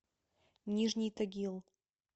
нижний тагил